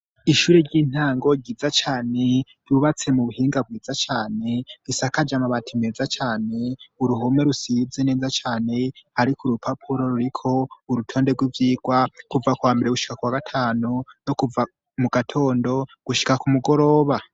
Ishure ry'intango ryiza cane rubatse mu buhinga bwiza cane isaka je amabati meza cane uruhume rusize neza cane, ariko urupapuro ruriko urutonde rw'ivyirwa kuva kwambere bushika kwa gatanu no kuva mu gatondo gushika ku mugoroba.